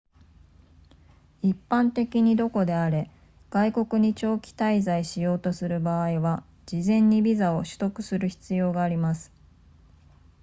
一般的にどこであれ外国に長期滞在しようとする場合は事前にビザを取得する必要があります